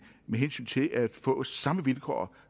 med hensyn til at få samme vilkår